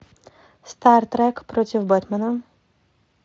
стартрек против бэтмена